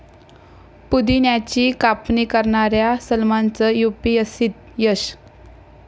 पुदिन्याची कापणी करणाऱ्या सलमानचं युपीएससीत यश